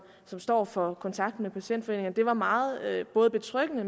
står for kontakten med patientforeningerne der var det meget betryggende